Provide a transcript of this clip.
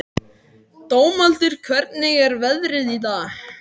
Dómaldur, hvernig er veðrið í dag?